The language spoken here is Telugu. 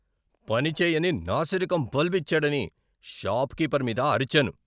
పని చేయని, నాసిరకం బల్బు ఇచ్చాడని షాప్ కీపర్ మీద అరిచాను.